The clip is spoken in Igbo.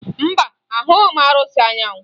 Mba, ahụghị m arụsị Anyanwụ